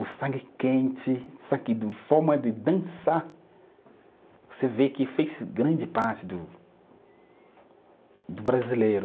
O sangue quente, forma de dançar, você vê que fez grande parte do do brasileiro.